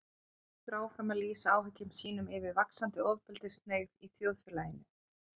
Hann heldur áfram að lýsa áhyggjum sínum yfir vaxandi ofbeldishneigð í þjóðfélaginu.